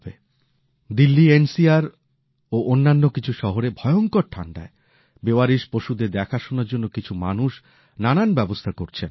জাতীয় রাজধানী অঞ্চল দিল্লী ও অন্যান্য কিছু শহরে ভয়ংকর ঠান্ডায় বেওয়ারিশ পশুদের দেখাশোনার জন্য কিছু মানুষ নানান ব্যবস্থা করছেন